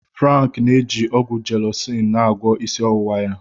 Frank n'eji ọgwụ Jelọcin na agwọọ isi ọwụwa ya.